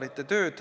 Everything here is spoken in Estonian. Aitäh!